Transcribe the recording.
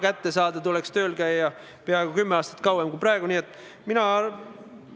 Kindlasti ei saa sellesse suhtuda bürokraatlikult, et lükkame midagi edasi kuni viimase hetkeni.